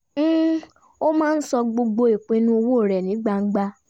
ó máa ń sọ gbogbo ìpinnu owó rẹ̀ ní gbangba